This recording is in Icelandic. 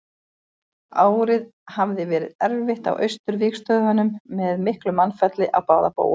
Árið hafði verið erfitt á Austurvígstöðvunum með miklu mannfalli á báða bóga.